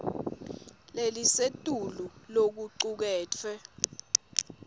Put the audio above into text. lelisetulu lokucuketfwe